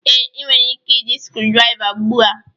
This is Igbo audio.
Ee, ị nwere ike iji screwdriver ugbu a